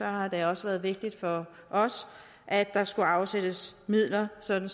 har det også været vigtigt for os at der skulle afsættes midler sådan